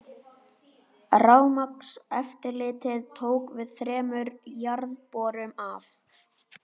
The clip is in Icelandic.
Rafmagnseftirlitið tók við þremur jarðborum af